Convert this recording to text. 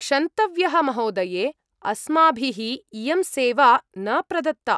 क्षन्तव्यः महोदये। अस्माभिः इयं सेवा न प्रदत्ता।